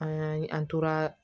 An an toraa